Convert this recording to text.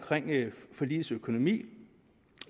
forligets økonomi